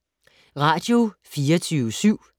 Radio24syv